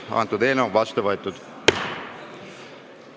Eelnõu on seadusena vastu võetud.